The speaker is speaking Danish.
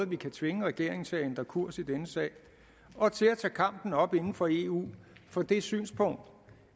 vi kan tvinge regeringen til at ændre kurs i denne sag og til at tage kampen op inden for eu for det synspunkt